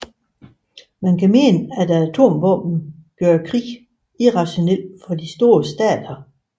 Man kan mene at atomvåbenene gør krig irrationelt for de store stater